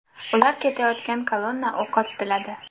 Ular ketayotgan kolonna o‘qqa tutiladi.